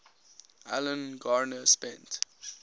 alan garner spent